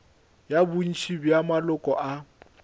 ya bontši bja maloko a